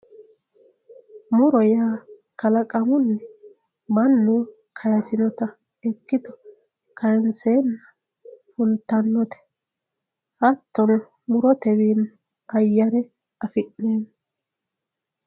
Muro yaa kalaqamuni mannu kayisewota ikito kayinsena fultanote hattono murote wiini ayere afineemo